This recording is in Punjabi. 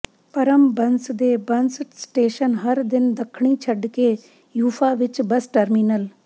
ਪਰ੍ਮ ਬੱਸ ਦੇ ਬੱਸ ਸਟੇਸ਼ਨ ਹਰ ਦਿਨ ਦੱਖਣੀ ਛੱਡ ਕੇ ਯੂਫਾ ਵਿੱਚ ਬੱਸ ਟਰਮੀਨਲ